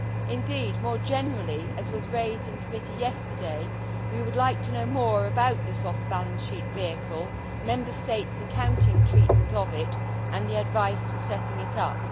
Indeed, more generally, as was raised in committee yesterday, we would like to know more about this off balance sheet vehicle, Member States' accounting treatment of it and the advice for setting it up.